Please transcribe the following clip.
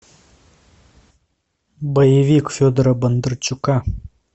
боевик федора бондарчука